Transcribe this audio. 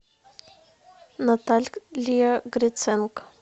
наталия гриценко